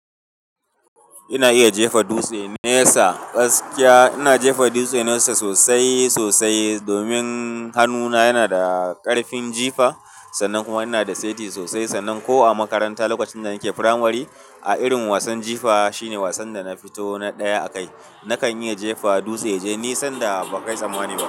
Ina iya jefa dutse nesa, gaskiya ina jefa dutse nesa sosai sosai domin hannuna yana da ƙarfin jifa sannan kuma ina da seti sosai. Sannan ko a makaranta lokacin da nake firamare a irin wasan jifa shine wasan da na fito na ɗaya a kai. Nakan iya jefa dutse yaje nisan da ba kai tsammani ba.